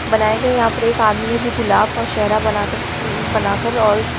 बनाया गया है यहाँ पर एक आदमी है जो गुलाब का सेहरा बना कर बना कर और उसको--